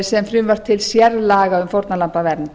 sem frumvarp til sérlaga um fórnarlambavernd